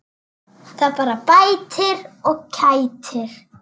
Það bara bætir og kætir.